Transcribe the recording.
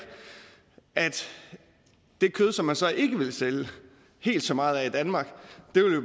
at det kød som man så ikke vil sælge helt så meget af i danmark